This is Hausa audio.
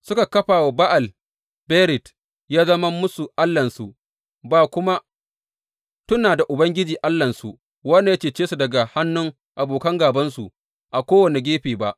Suka kafa Ba’al Berit yă zama musu allahnsu ba kuma tuna da Ubangiji Allahnsu, wanda ya cece su daga hannuwan abokan gābansu a kowane gefe ba.